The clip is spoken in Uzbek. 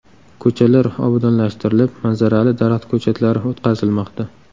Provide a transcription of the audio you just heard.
Ko‘chalar obodonlashtirilib, manzarali daraxt ko‘chatlari o‘tqazilmoqda.